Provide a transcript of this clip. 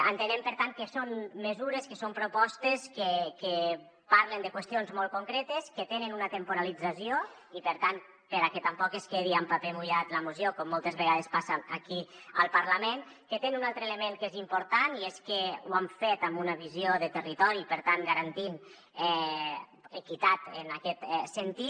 entenem per tant que són mesures que són propostes que parlen de qüestions molt concretes que tenen una temporització i per tant perquè tampoc es quedi en paper mullat la moció com moltes vegades passa aquí al parlament que tenen un altre element que és important i és que ho han fet amb una visió de territori i per tant garantint equitat en aquest sentit